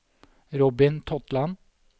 Robin Totland